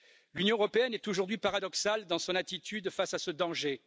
L'Union européenne est aujourd'hui paradoxale dans son attitude face à ce danger.